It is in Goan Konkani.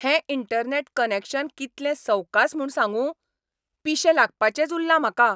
हें इंटरनॅट कनॅक्शन कितलें सवकास म्हूण सांगूं? पिशें लागपाचेंच उरलां म्हाका!